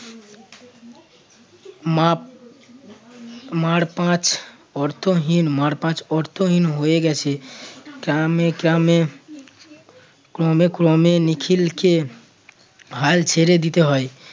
মাপ মার পাঁচ অর্থহীন মাপ মার পাঁচ অর্থহীন হয়ে গেছে ক্রমে ক্রমে নিখিলকে হাল ছেড়ে দিতে হয়।